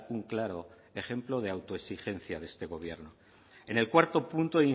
un claro ejemplo de autoexigencia de este gobierno en el cuarto punto